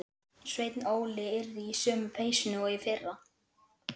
Sveinn Óli yrði í sömu peysunni og í fyrra.